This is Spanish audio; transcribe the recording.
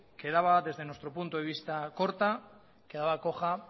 quedaba desde nuestro punto de vista corta quedaba coja